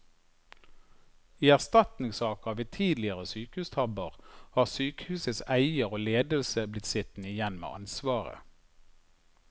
I erstatningssaker ved tidligere sykehustabber har sykehusets eier og ledelse blitt sittende igjen med ansvaret.